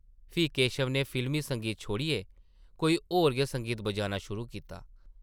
फ्ही केशव नै फिल्मी संगीत छोड़ियै कोई होर गै संगीत बजाना शुरू कीता ।